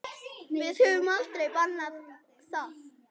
Við höfum aldrei bannað það.